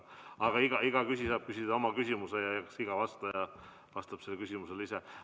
Aga iga küsija saab küsida oma küsimuse ja eks iga vastaja vastab sellele küsimusele ise.